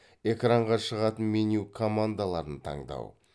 экранға шығатын меню командаларын таңдау